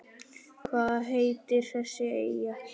Hvað heitir þessi eyja?